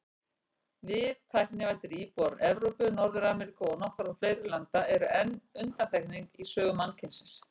Við, tæknivæddir íbúar Evrópu, Norður-Ameríku og nokkurra fleiri landa, erum enn undantekning í sögu mannkynsins.